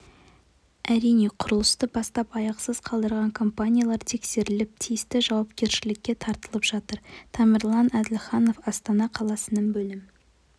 әрине құрылысты бастап аяқсыз қалдырған компаниялар тексеріліп тиісті жауапкершілікке тартылып жатыр темірлан әділханов астана қаласының бөлім